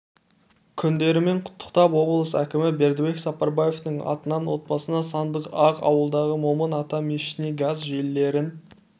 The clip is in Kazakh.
күндерімен құттықтап облыс әкімі бердібек сапарбаевтың атынан отбасына сандай-ақ ауылдағы момын ата мешітіне газ желілерін